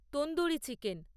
tandoori chicken